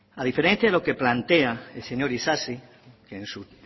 a diferencia de lo que plantea el señor isasi que en su